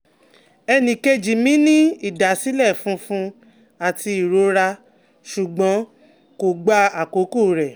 Ẹnìkejì mi ní ìdásílẹ̀ funfun àti ìrora ṣùgbọ́n kò gba àkókò rẹ̀